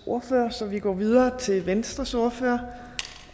ordfører så vi går videre til venstres ordfører